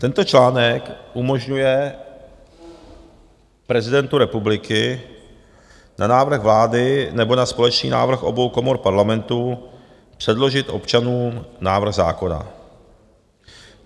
Tento článek umožňuje prezidentu republiky na návrh vlády nebo na společný návrh obou komor parlamentu předložit občanům návrh zákona.